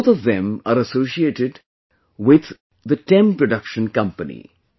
Both of them are associated with TEM Production Company